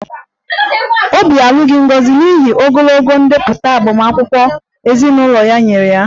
Obi alụghị Ngozi n'ihi ogologo ndepụta agbamakwụkwọ ezinụlọ ya nyere ya